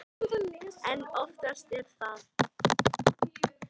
En oftast er það